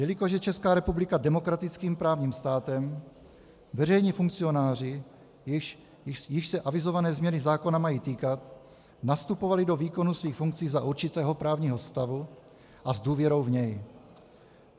Jelikož je Česká republika demokratickým právním státem, veřejní funkcionáři, jichž se avizované změny zákona mají týkat, nastupovali do výkonu svých funkcí za určitého právního stavu a s důvěrou v něj.